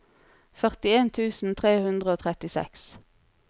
førtien tusen tre hundre og trettiseks